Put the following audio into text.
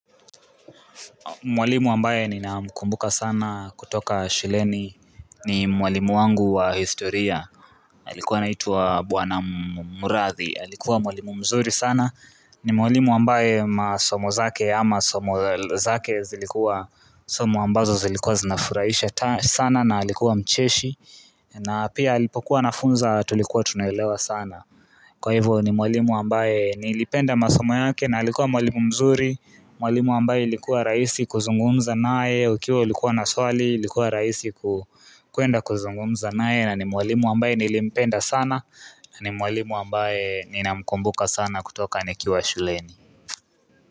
Mwalimu ambaye ninakumbuka sana kutoka shuleni ni mwalimu wangu wa historia alikuwa naituwa Bwana Murathi, alikuwa mwalimu mzuri sana ni mwalimu ambaye masomo zake ama somo zake zilikuwa Somo ambazo zilikuwa zinafuraisha sana na halikuwa mcheshi na pia alipokuwa nafunza tulikuwa tunelewa sana Kwa hivyo ni mwalimu ambaye nilipenda masomo yake na alikuwa mwalimu mzuri Mwalimu ambaye likuwa raisi kuzungumza nae Ukiwa likuwa naswali, likuwa raisi kuenda kuzungumza nae na ni mwalimu ambaye nilipenda sana na ni mwalimu ambaye ninamkumbuka sana kutoka nikiwa shuleni.